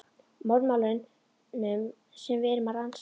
Morðmálunum sem við erum að rannsaka.